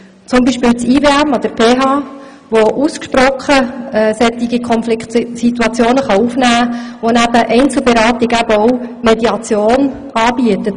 beispielsweise das IWM an der PH, das ausgesprochene Konfliktsituationen aufnehmen kann und neben Einzelberatung auch Mediation anbietet.